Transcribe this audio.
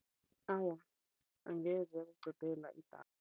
Awa, angeze yakuqedela idatha.